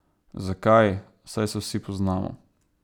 Zakaj, saj se vsi poznamo?